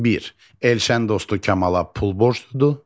Bir: Elşən dostu Kəmala pul borcludur.